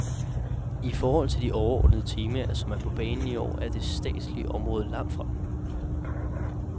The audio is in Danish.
I forhold til de overordnede temaer, som er på banen i år, er det statslige område langt fremme.